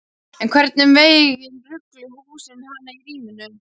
En einhvern veginn rugluðu húsin hana í ríminu.